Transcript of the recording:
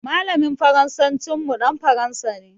Malamin Faransancin mu dan Faransa ne.